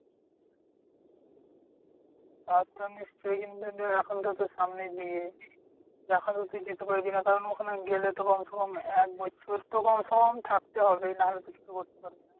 তা তো নিশ্চয়ই কিন্তু এখন তো সামনেই বিয়ে। এখন তো তুই যেতে পারবি না কারণ ওখানে গেলে তো কমছে কম একবছর তোর তো কমছে কম থাকতেই হবে নাহলে তুই কিছু করতে পারবি না।